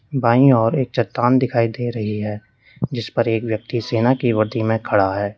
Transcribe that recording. बाईं ओर एक चट्टान दिखाई दे रही है जिसपर एक व्यक्ति सेना की वर्दी में खड़ा है।